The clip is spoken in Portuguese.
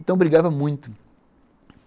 Então brigava muito.